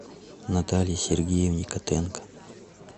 наталье сергеевне котенко